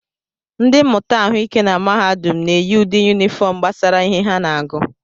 Ndị mmụta ahụike na mahadum na-eyi ụdị yunifọm gbasara ihe ha na-agụ